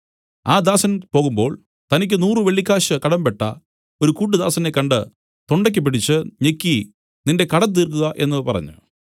ആ ദാസൻ പോകുമ്പോൾ തനിക്കു നൂറു വെള്ളിക്കാശ് കടമ്പെട്ട ഒരു കൂട്ടുദാസനെ കണ്ട് തൊണ്ടയ്ക്ക് പിടിച്ച് ഞെക്കി നിന്റെ കടം തീർക്കുക എന്നു പറഞ്ഞു